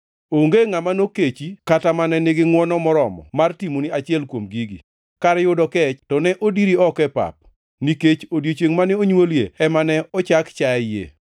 Onge ngʼama nokechi kata mane nigi ngʼwono moromo mar timoni achiel kuom gigi. Kar yudo kech to ne odiri oko e pap, nikech odiechiengʼ mane onywolie ema ne ochak chayie.